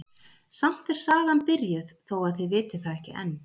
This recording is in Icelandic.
Samt er sagan byrjuð þó að þið vitið það ekki enn.